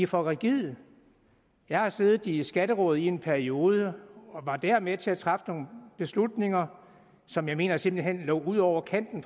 for rigide jeg har siddet i skatteråd i en periode og var der med til at træffe nogle beslutninger som jeg mener simpelt hen lå ud over kanten